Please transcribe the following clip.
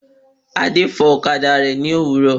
Adé fò ọ̀kadà rẹ̀ ní àárò